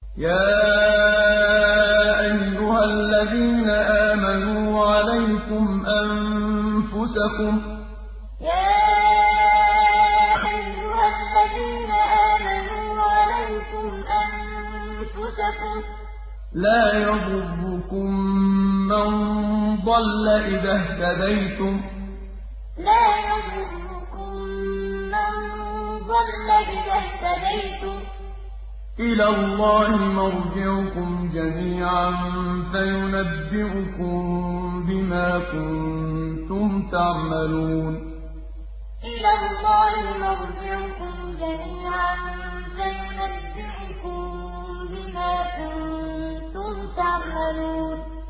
يَا أَيُّهَا الَّذِينَ آمَنُوا عَلَيْكُمْ أَنفُسَكُمْ ۖ لَا يَضُرُّكُم مَّن ضَلَّ إِذَا اهْتَدَيْتُمْ ۚ إِلَى اللَّهِ مَرْجِعُكُمْ جَمِيعًا فَيُنَبِّئُكُم بِمَا كُنتُمْ تَعْمَلُونَ يَا أَيُّهَا الَّذِينَ آمَنُوا عَلَيْكُمْ أَنفُسَكُمْ ۖ لَا يَضُرُّكُم مَّن ضَلَّ إِذَا اهْتَدَيْتُمْ ۚ إِلَى اللَّهِ مَرْجِعُكُمْ جَمِيعًا فَيُنَبِّئُكُم بِمَا كُنتُمْ تَعْمَلُونَ